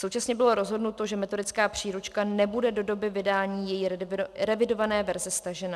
Současně bylo rozhodnuto, že metodická příručka nebude do doby vydání její revidované verze stažena.